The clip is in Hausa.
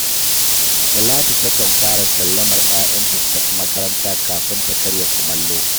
Talatu takan fara sallamar ‘ya’yanta su tafi makaranta kafin ta karya kumallo